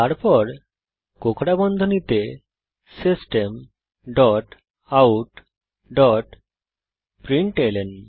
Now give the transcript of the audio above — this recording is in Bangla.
তারপর কোঁকড়া বন্ধনীতে system dot out dot println